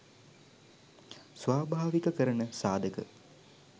ස්වාභාවිකකරණ සාධක